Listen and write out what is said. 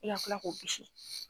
I ka kila k'o bisi